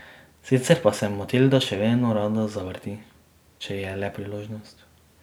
Sicer pa se Matilda še vedno rada zavrti, če je le priložnost.